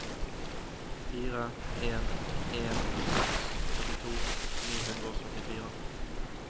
fire en en seks trettito ni hundre og syttifire